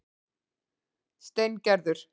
Steingerður